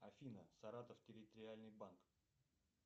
афина саратов территориальный банк